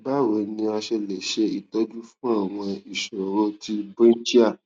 báwo ni a ṣe lè ṣe itoju fun àwọn ìṣòro ti brinchial